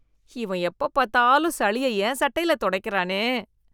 இவன் எப்ப பாத்தாலும் சளிய என் சட்டைல தொடைக்கிறானே.